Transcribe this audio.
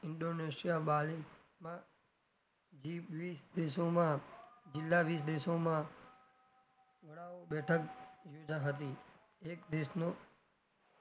indonesia bali માં જે વિશ દેશોમાં જીલ્લા વિશ દેશોમાં વડાઓ બેઠક સુવિધા હતી એક દેશનું,